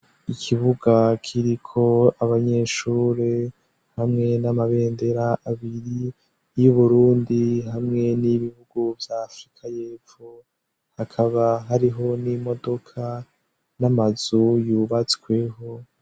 Ikibuga kiriko abanyeshure hamwe n'amabendera abiri y'uburundi hamwe n'ibihugu vya afrika yepfo hakaba hariho n'imodoka n'amazu yubatsweho.